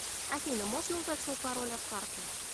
афина можно узнать свой пароль от карты